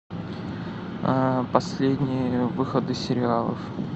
последние выходы сериалов